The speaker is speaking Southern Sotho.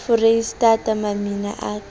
foreistata mamina e ka a